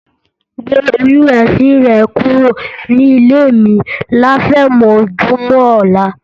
Gbé oyún ẹ̀sin rẹ kúrò nílé mi láfẹ̀mọ́júmọ̀ ọ̀la.